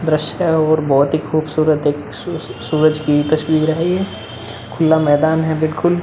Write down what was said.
Brush का और बोहोत ही खूबसूरत एक सूरज की तस्वीर है। ये खुल्ला मैदान है बिलकुल।